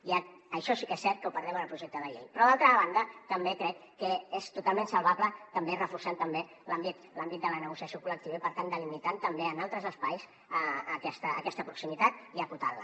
i això sí que és cert que ho perdem en el projecte de llei però d’altra banda també crec que és totalment salvable també reforçant l’àmbit de la negociació col·lectiva i per tant delimitant també en altres espais aquesta proximitat i acotant la